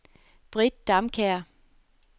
Britt Damkjær